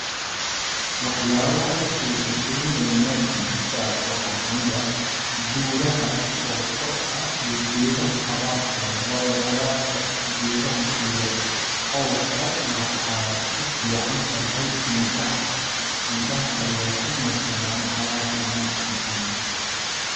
Waxyaabaha i xiisa galinaaya ee meeshan aan ku arko waxaa kamid ah buuraha oo kor ah iyo geedaha cagaar kooda ,waayo cagaar ka geedaha iyo cawska waxay u fiican tahay indhaha ,indhaha ayaa ku nuur sadaan cagaarka nocaan camal.